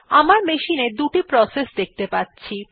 আমার মেশিন এ দুটি প্রসেস দেখতে পাচ্ছি